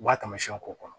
U b'a tamasiyɛnw k'o kɔnɔ